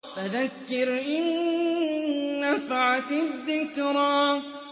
فَذَكِّرْ إِن نَّفَعَتِ الذِّكْرَىٰ